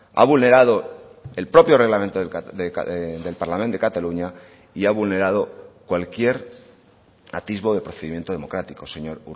ha vulnerado el propio reglamento del parlament de cataluña y ha vulnerado cualquier atisbo de procedimiento democrático señor